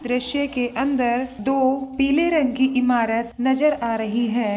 द्रश्य के अंदर दो पीले रंग की इमारत नजर आ रही है।